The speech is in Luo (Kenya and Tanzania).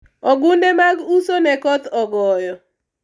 ogunde mag uso ne koth ogoyo